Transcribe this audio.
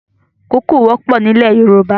Koko wọpọ̀ ni ilẹ̀ Yoruba